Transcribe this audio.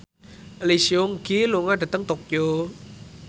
Lee Seung Gi lunga dhateng Tokyo